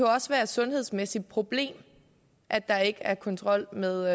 også være et sundhedsmæssigt problem at der ikke er kontrol med